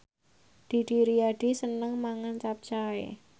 Didi Riyadi seneng mangan capcay